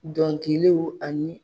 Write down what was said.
Dɔnkiliw ani